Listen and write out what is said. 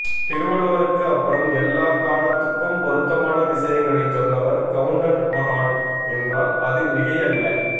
திருவள்ளுவருக்கு அப்றம் எல்லா காலத்துக்கும் பொருத்தமான விசயங்களைச் சொன்னவர் கவுண்டர் மகான் என்றால் அது மிகையல்ல